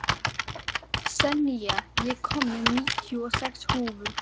Senía, ég kom með níutíu og sex húfur!